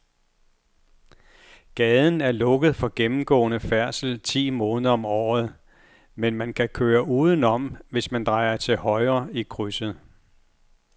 Gaden er lukket for gennemgående færdsel ti måneder om året, men man kan køre udenom, hvis man drejer til højre i krydset.